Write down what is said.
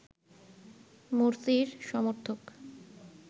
মোরসির সমর্থক